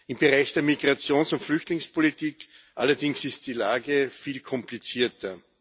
Im Bereich der Migrations und Flüchtlingspolitik allerdings ist die Lage viel komplizierter.